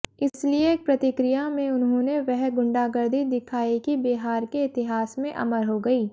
इसलिये प्रतिक्रिया में उन्होंने वह गुण्डागर्दी दिखायी कि बिहार के इतिहास में अमर हो गयी